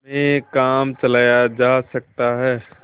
में काम चलाया जा सकता है